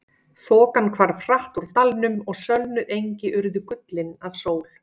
Þokan hvarf hratt úr dalnum og sölnuð engi urðu gullin af sól.